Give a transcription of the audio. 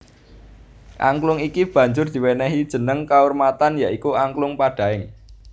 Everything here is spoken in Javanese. Angklung iki banjur diwenehi jeneng kaurmatan ya iku Angklung Padaeng